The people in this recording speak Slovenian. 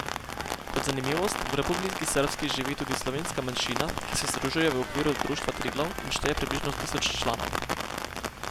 Kot zanimivost, v Republiki srbski živi tudi slovenska manjšina, ki se združuje v okviru Društva Triglav in šteje približno tisoč članov.